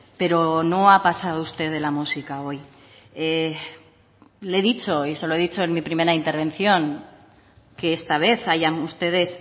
pero no ha pasado usted de la música hoy le he dicho y se lo he dicho en mi primera intervención que esta vez hayan ustedes